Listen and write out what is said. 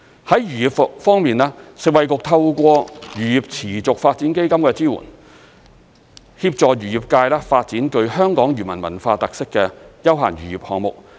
在漁業方面，食衞局透過漁業持續發展基金的支援，協助漁業界發展具香港漁民文化特色的休閒漁業項目。